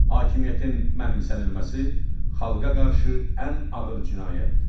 Hakimiyyətin mənimsənilməsi xalqa qarşı ən ağır cinayətdir.